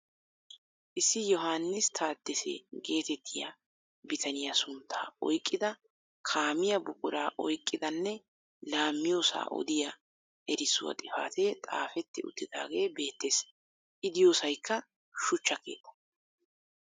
Issi Yohaanis Taadese getettiyaa bitaniyaa sunttaa oyqqida kaamiyaa buquraa oyqqidanne laammiyoosaa odiyaa erissuwaa xifatee xaafetti uttidagee beettees. I diyoosaykka shuchcha keettaa.